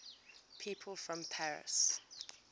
people from paris